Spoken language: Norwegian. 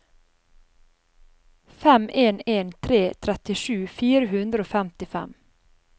fem en en tre trettisju fire hundre og femtifem